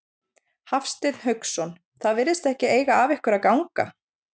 Hafsteinn Hauksson: Það virðist ekki eiga af ykkur að ganga?